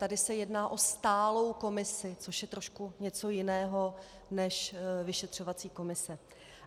Tady se jedná o stálou komisi, což je trošku něco jiného než vyšetřovací komise.